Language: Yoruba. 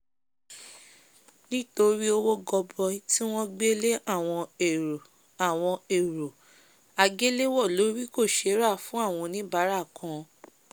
nítorí owó goboi tí won gbé lé awon èrò awon èrò àgéléwọ̀ lórì kò sé rà fún áwon oníbárà kan